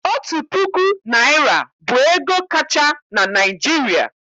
Otu puku naịra bụ ego kacha na Naịjirịa.